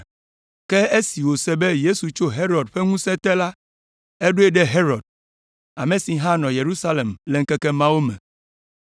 Ke esi wòse be Yesu tso Herod ƒe ŋusẽ te la, eɖoe ɖe Herod, ame si hã nɔ Yerusalem le ŋkeke mawo me.